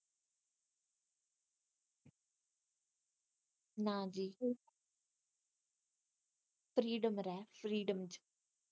freedom ਰਹਿ freedom ਚ